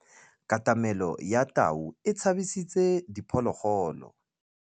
Katamêlô ya tau e tshabisitse diphôlôgôlô.